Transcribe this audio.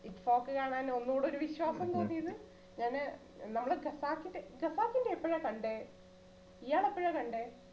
കാണാൻ ഒന്നൂടെ ഒരു വിശ്വാസം തോന്നിയത് ഞാന് നമ്മള് capacity, capacity എപ്പഴാ കണ്ടേ? ഇയാള് എപ്പഴാ കണ്ടേ?